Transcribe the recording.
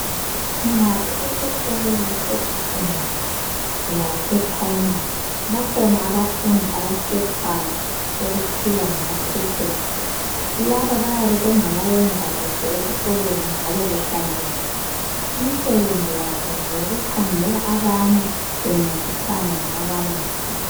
Nxa kusesikolo sesecondary lase primary bakhona abafundi abakhethwayo okuthiwa ngamaprifethi. Laba bayabe bengabayenza kuhle esikolweni njalo behlanzekile imisebenzi yabo ngokukhangela abanye bencedisana lababalisi.